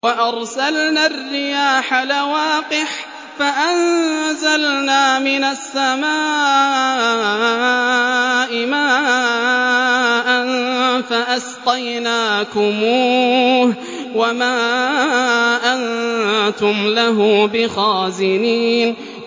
وَأَرْسَلْنَا الرِّيَاحَ لَوَاقِحَ فَأَنزَلْنَا مِنَ السَّمَاءِ مَاءً فَأَسْقَيْنَاكُمُوهُ وَمَا أَنتُمْ لَهُ بِخَازِنِينَ